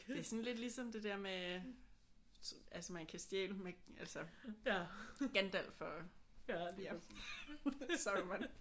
Det er sådan lidt ligesom det der med altså man kan stjæle man altså Gandalf og Sauron